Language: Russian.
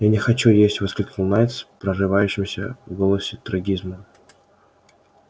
я не хочу есть воскликнул найд с прорывающимся в голосе трагизмом